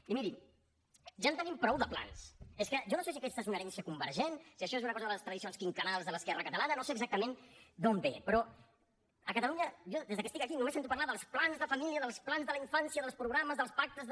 i miri ja en tenim prou de plans és que jo no sé si aquesta és una herència convergent si això és una cosa de les tradicions quinquennals de l’esquerra catalana no sé exactament d’on ve però a catalunya jo des que estic aquí només sento parlar dels plans de família dels plans de la infància dels programes dels pactes de